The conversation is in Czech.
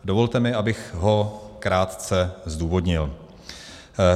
Dovolte mi, abych ho krátce zdůvodnil.